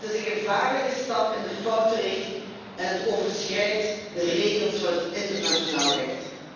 Het is een gevaarlijke stap in de foute richting en het overschrijdt de regels van het internationaal recht.